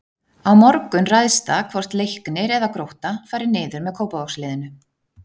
Á morgun ræðst það hvort Leiknir eða Grótta fari niður með Kópavogsliðinu.